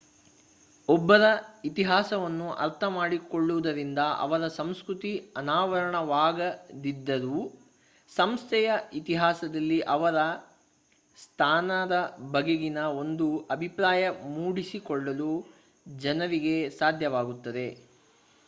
ಒಬ್ಬರ ಇತಿಹಾಸವನ್ನು ಅರ್ಥ ಮಾಡಿಕೊಳ್ಳುವುದರಿಂದ ಅವರ ಸಂಸ್ಕೃತಿಯ ಅನಾವರಣವಾಗದಿದ್ದರೂ ಸಂಸ್ಥೆಯ ಇತಿಹಾಸದಲ್ಲಿ ಅವರ ಸ್ಥಾನದ ಬಗೆಗಿನ ಒಂದು ಅಭಿಪ್ರಾಯ ಮೂಡಿಸಿಕೊಳ್ಳಲು ಜನರಿಗೆ ಸಾಧ್ಯವಾಗುತ್ತದೆ